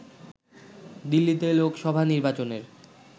দিল্লিতে লোকসভা নির্বাচনের